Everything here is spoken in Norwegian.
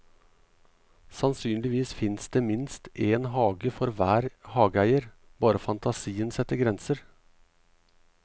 Sannsynligvis fins det minst en hage for en hver hageeier, bare fantasien setter grenser.